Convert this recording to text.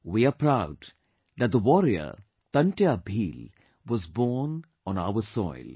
We are proud that the warrior Tantiya Bheel was born on our soil